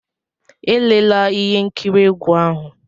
Elela ihe nkiri egwu ahu!